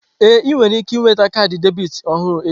Ee, ị nwere ike nweta kaadị debit ọhụrụ echi.